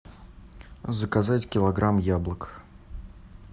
заказать килограмм яблок